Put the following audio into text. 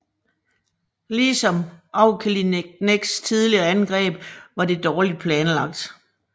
Ligesom Auchinlecks tidligere angreb var det dårligt planlagt